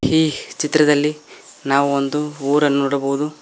ಈ ಚಿತ್ರದಲ್ಲಿ ಒಂದು ನಾವು ಊರುನ್ನು ನೋಡಬಹುದು.